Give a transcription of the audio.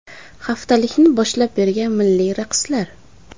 Haftalikni boshlab bergan milliy raqslar.